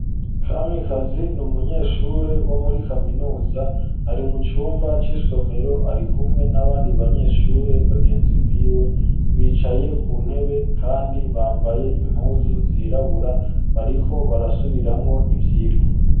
Kamikazi n’umunyeshure wo muri kaminuza ari mu cumba c'isomero ari kumwe n'abandi banyeshure bagenzi biwe bicaye ku ntebe kandi bambaye impuzu zirabura bariko barasubiramwo ivyigwa.